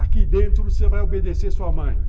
Aqui dentro você vai obedecer sua mãe.